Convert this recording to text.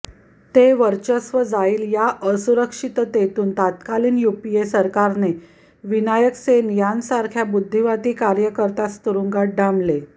ते वर्चस्व जाईल या असुरक्षिततेतून तत्कालिन युपीए सरकारने विनायक सेन यांच्यासारख्या बुद्धिवादी कार्यकर्त्यास तुरुंगांत डांबले